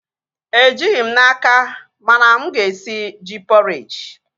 Ejighị m n'aka, mana mụ ga-esi ji pọreji